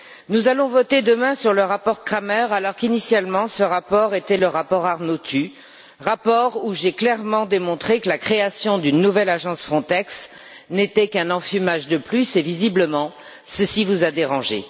Nous allons voter demain sur le rapport Kramer alors qu'initialement, ce rapport était le rapport Arnautu, rapport où j'ai clairement démontré que la création d'une nouvelle agence Frontex n'était qu'un enfumage de plus et, visiblement, ceci vous a dérangé.